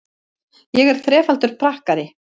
Ég er þrefaldur pakkari.